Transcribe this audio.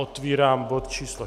Otvírám bod číslo